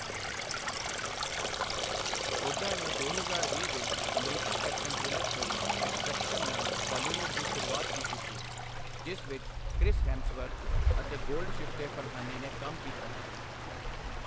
ਹੁੱਡਾ ਨੇ ਦੋ ਹਜ਼ਾਰ ਵੀਹ ਵਿੱਚ ਅਮਰੀਕੀ ਐਕਸ਼ਨ ਥ੍ਰਿਲਰ ਫਿਲਮ 'ਐਕਸਟ੍ਰੈਕਸ਼ਨ' ਨਾਲ ਹਾਲੀਵੁੱਡ ਦੀ ਸ਼ੁਰੂਆਤ ਕੀਤੀ ਸੀ, ਜਿਸ ਵਿੱਚ ਕ੍ਰਿਸ ਹੈਮਸਵਰਥ ਅਤੇ ਗੋਲਡਸ਼ਿਫਤੇ ਫਰਹਾਨੀ ਨੇ ਕੰਮ ਕੀਤਾ ਹੈ।